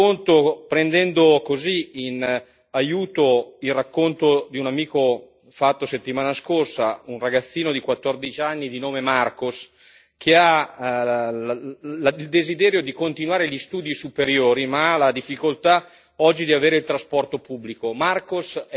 Ve lo racconto prendendo in aiuto il racconto fatto da un amico la settimana scorsa, che riguarda un ragazzino di quattordici anni, di nome Marcos, che ha il desiderio di continuare gli studi superiori, ma ha la difficoltà oggi di avere il trasporto pubblico.